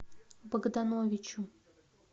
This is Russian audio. богдановичу